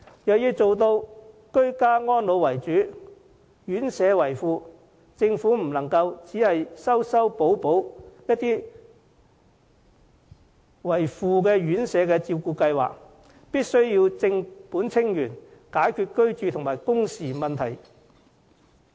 若要做到居家安老為主，院舍為輔，政府不能只是修修補補一些作為輔助的院舍照顧計劃，必須正本清源，解決居住和工時問題。